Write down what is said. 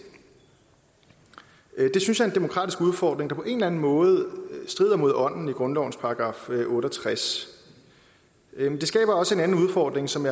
det synes en demokratisk udfordring der på en eller anden måde strider mod ånden i grundlovens § otte og tres det skaber også en anden udfordring som